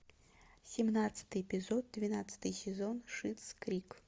семнадцатый эпизод двенадцатый сезон шиттс крик